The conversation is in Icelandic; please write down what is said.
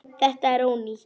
Þetta er ónýtt.